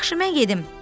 Yaxşı, mən gedim.